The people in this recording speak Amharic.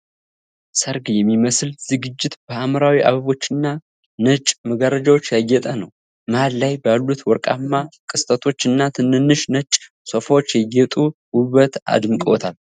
ሠርግ የሚመስል ዝግጅት በሐምራዊ አበቦችና ነጭ መጋረጃዎች ያጌጠ ነው። መሀል ላይ ባሉት ወርቃማ ቅስቶች እና ትንንሽ ነጭ ሶፋዎች የጌጡን ውበት አድምቀውታል።